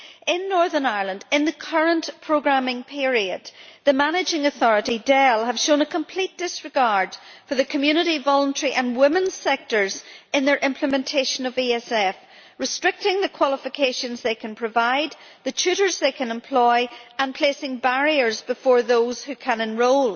In Northern Ireland in the current programming period, the managing authority, DEL, has shown complete disregard for the community, voluntary and women's sectors in the implementation of the ESF, restricting the qualifications they can provide, the tutors they can employ and placing barriers before those who can enrol.